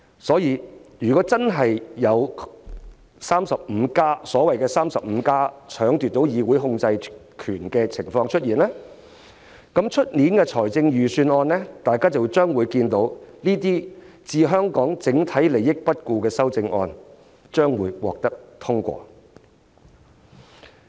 所以，如果真的有所謂的 "35+"， 奪取議會控制權的情況出現，那麼在明年的財政預算案中，大家便會看到這些置香港整體利益不顧的修正案獲得通過。